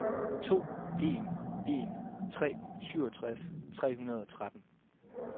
to en en tre syvogtres tre hundrede og tretten